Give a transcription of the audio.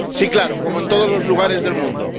Sí, claro, como en todos los lugares del mundo.